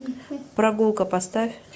прогулка поставь